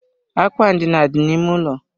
Akwa ndina dị na ímé ụlọ.